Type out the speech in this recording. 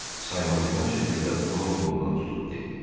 Saymazyana şəkildə onun qolundan tutub dedi: